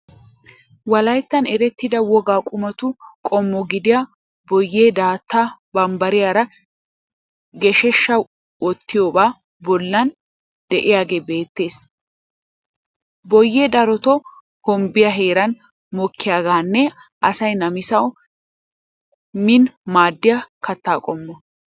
Wolaittan erettida wogaa qumatu qommo gidiya boyyee daatta bambbariyaara geeshsha wottiyobaa bollan diyagee beettees. Boyyee darotoo hombbiya heeran mokkiyogaaninne asay namisawu miin maaddiya katta qommo.